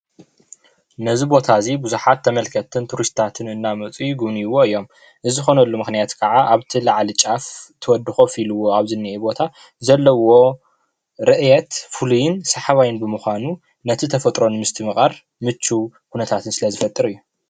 ነዚ ቦታ እዚ ቡዙሓት ተመልከትትን ቱሪስትታትን እናመፁ ይጉብንይዎ እዮም፡፡ እዚ ዝኾነሉ ምክንያት ከዓ ኣብቲ ላዕሊ ጫፍ እቲ ወዲ ኮፍ ኢልዎ ኣብ ዝንኤ ቦታ ዘለዎ ርእየት ፍሉይን ስሓባይን ብምኻኑ ነቲ ተፈጥሮ ንምስትምቓር ምችው ኩነታት ስለዝፈጥር እዩ፡፡